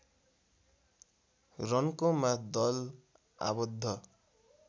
रन्कोमा दल आबद्ध